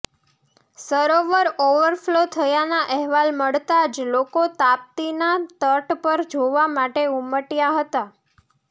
સરોવર overflow થયાના અહેલાલ મળતા જ લોકો તાપ્તતીના તટ પર જોવા માટે ઉમટ્યા હતા